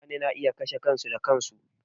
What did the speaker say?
Mutane na iya kashe kansu da kansu.